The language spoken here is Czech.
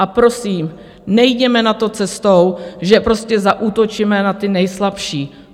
A prosím, nejděme na to cestou, že prostě zaútočíme na ty nejslabší.